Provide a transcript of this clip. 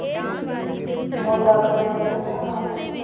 ਉਹ ਗੱਲ ਸੋਚੀ ਜਾਨ ਨੇ ਹਵਾ ਚ